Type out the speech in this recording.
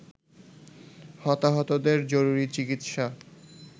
হতাহতদের জরুরি চিকিৎসা